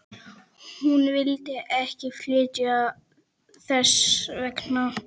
Hún vill ekki flytja þess vegna.